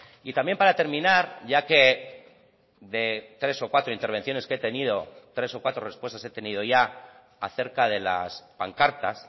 y también para terminar ya que de tres o cuatro intervenciones que he tenido tres o cuatro respuestas he tenido ya acerca de las pancartas